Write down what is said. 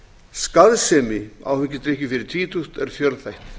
skaðsemi áfengisdrykkju fyrir tvítugt er fjölþætt